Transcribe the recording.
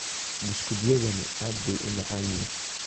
Buskutyadani aad bay u macaan yihiin.